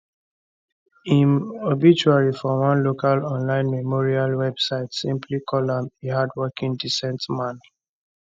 im obituary for one local online memorial website simply call am a hardworking decent man